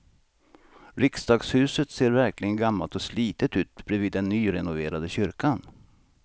Riksdagshuset ser verkligen gammalt och slitet ut bredvid den nyrenoverade kyrkan.